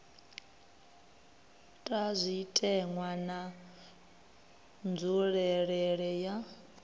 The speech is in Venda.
ta zwitenwa na nzulelele ya